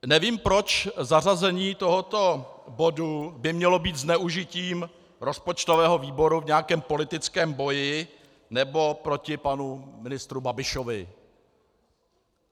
Nevím, proč zařazení tohoto bodu by mělo být zneužitím rozpočtového výboru v nějakém politickém boji nebo proti panu ministru Babišovi.